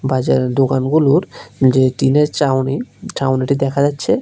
বাজারের দোকানগুলোর যে টিনের চাউনি ছাউনিটি দেখা যাচ্ছে।